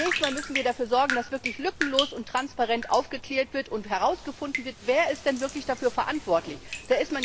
Zunächst einmal müssen wir dafür sorgen, dass wirklich lückenlos und transparent aufgeklärt und herausgefunden wird, wer denn wirklich dafür verantwortlich ist.